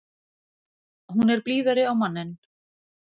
Hún er blíðari á manninn.